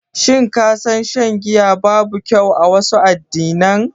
Shin ka san shan giya babu kyau a wasu addinan?